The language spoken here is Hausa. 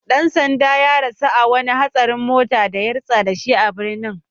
Dan sandan ya rasu a wani hatsarin mota da ya rutsa da shi a Benin